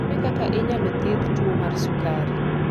Ere kaka inyalo thiedh tuwo mar sukari?